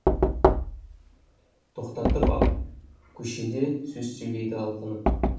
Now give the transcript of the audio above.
тоқтатып ап көшеде сөз сөйлейді алқынып